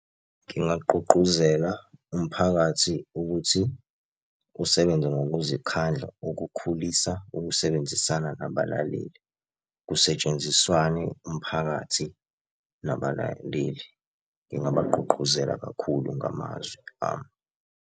Ngingagqugquzela umphakathi ukuthi usebenze ngokuzikhandla ukukhulisa ukusebenzisana nabalaleli. Kusetshenziswane umphakathi nabalaleli. Ngingabagqugquzela kakhulu ngamazwi ami.